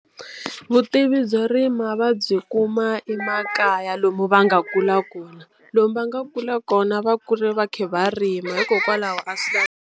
Vutivi byo rima va byi kuma emakaya lomu va nga kula kona lomu va nga kula kona va kule va kha va rima hikokwalaho a swi lavi.